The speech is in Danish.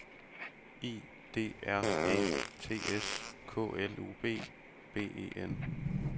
I D R Æ T S K L U B B E N